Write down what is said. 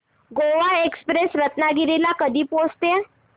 Goa express Ratnagiri ला कधी पोहचते